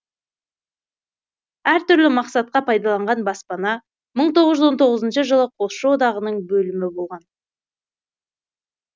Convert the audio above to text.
әртүрлі мақсатқа пайдаланған баспана мың тоғыз жүз он тоғызыншы жылы жылы қосшы одағының бөлімі болған